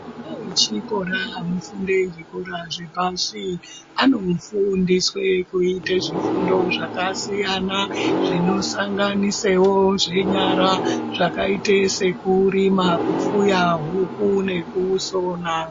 Ana echikora anofunde zvikora zvepamberi anofundiswe kuite zvifundo zvakasiyana zvinosanganisewo zvenyara zvakaite sekurima, kufuya huku nekusona.